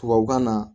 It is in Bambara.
Tubabukan na